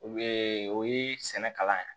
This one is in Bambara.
o ye sɛnɛ kalan ye